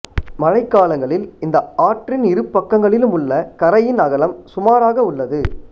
மழைக்காலங்களில் இந்த ஆற்றின் இரு பக்கங்களிலும் உள்ள கரையின் அகலம் சுமார் ஆக உள்ளது